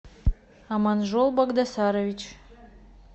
аманжол багдасарович